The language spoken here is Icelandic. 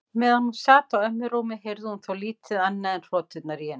Meðan hún sat á ömmu rúmi heyrði hún þó lítið annað en hroturnar í henni.